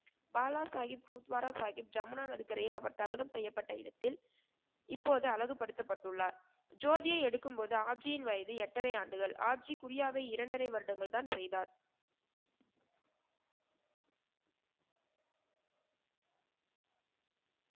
பாலா சாகிப், பூத்வாரா சாகிப் ஜமுனா நதிக்கரையில் அவர் தகனம் செய்யப்பட இடத்தில் இப்போது அழகுபடுத்தப்பட்டுள்ளார். ஜோதியை எடுக்கும் போது ஆப்ஜியின் வயது எட்டரை ஆண்டுகள். ஆப்ஜி குரியாவை இரண்டரை வருடங்கள் தான் செய்தார்.